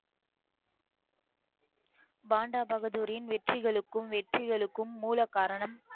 பாண்டா பகதூரின் வெற்றிகளுக்கும் வெற்றிகளுக்கும் மூலகாரணம்